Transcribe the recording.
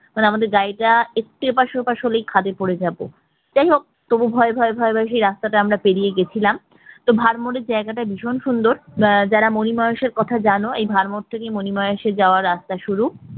আমাদের গাড়িটা একটু এপাশ ওপাশ হলে খাদে পড়ে যাবে। যাইহোক তবুও ভয় ভয় ভয় ভয় সেই রাস্তাটা আমরা পেরিয়ে গেছিলাম তো ভরমোর এর জায়গাটা ভীষণ সুন্দর আহ যারা মনিমাহেসর কথা জানো এই সেই ভরমোর থেকে মনিমাহেসর রাস্তা শুরু